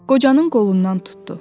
Qocanın qolundan tutdu.